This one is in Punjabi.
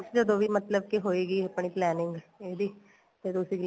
ਜਦੋਂ ਵੀ ਮਤਲਬ ਕੀ ਹੋਈਗੀ ਆਪਣੀ planning ਇਹਦੀ ਫੇਰ ਤੁਸੀਂ